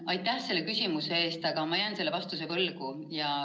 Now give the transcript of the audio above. Aitäh, selle küsimuse eest, aga ma jään vastuse võlgu.